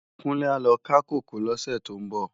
Kunle á lò ká kókòó lòsè tó n bò